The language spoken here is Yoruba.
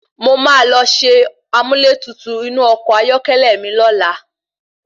Mo máa lọ ṣe amúlẹ́tutù inú ọkọ̀ ayọ́kẹ́lẹ́ mi lọ́la.